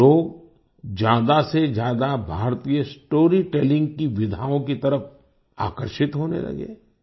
लोग ज्यादा से ज्यादा भारतीय स्टोरीटेलिंग की विधाओं की तरफ आकर्षित होने लगे